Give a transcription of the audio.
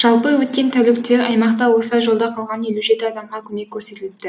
жалпы өткен тәулікте аймақта осылай жолда қалған елу жеті адамға көмек көрсетіліпті